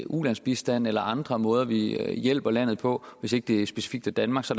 ulandsbistand eller andre måder vi hjælper landet på hvis ikke det specifikt er danmark så